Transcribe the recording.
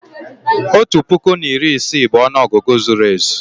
otu puku na iri isii bụ ọnụ ọgụgụ zuru ezu